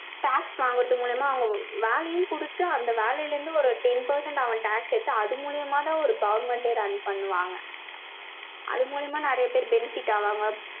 tax வாங்குறது மூலியமா, அவங்க வேலையும் கொடுத்து, அந்த வேலையில இருந்து, ஒரு ten percent அவன் tax எடுத்து, அது மூலியமா தான் ஒரு government ஏ run பண்ணுவாங்க. அது மூலியமா நிறைய பேர் benefit ஆவாங்க.